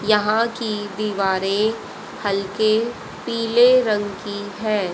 यहां की दीवारें हल्के पीले रंग की हैं।